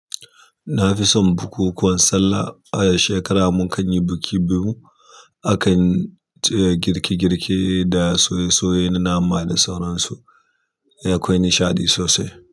Na fi son bukukuwan sallah, a shekara mukan yi biki biyu akan. Girke girke da soye soye na nama da sauransu, akwai nasihaɗi sosai.